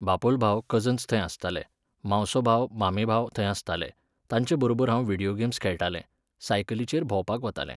बापोल भाव, कजन्स थंय आसताले, मावसोभाव मामेभाव थंय आसताले, तांचे बरोबर हांव विडियो गेम्स खेळटालें, सायकलिचेर भोंवपाक वतालें